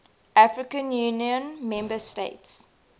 african union member states